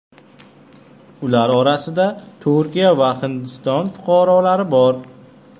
Ular orasida Turkiya va Hindiston fuqarolari bor.